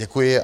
Děkuji.